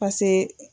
pase